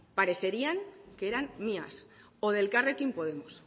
parecerían que eran mías o de elkarrekin podemos